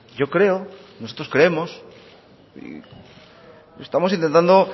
yo creo nosotros creemos y estamos intentando